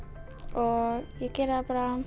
og ég geri það bara